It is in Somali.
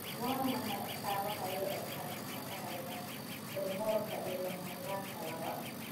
Waa maxay astamaha iyo astaamaha dhaxalka Tremorka ee lama huraanka ah, laba?